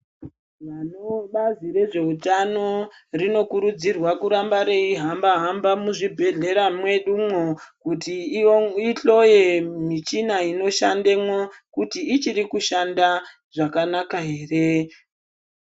Bazi rezveutano rinokurudzirwa kuramba reihamba hamba muzvibhehlera mwedumwo kuti ihloye michina inoshandemwo kuti ichiri kushanda zvakanaka here.